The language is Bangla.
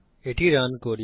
এটি রান করি